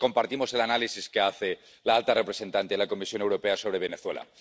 Nosotros compartimos el análisis que hace la alta representante de la Comisión Europea sobre Venezuela.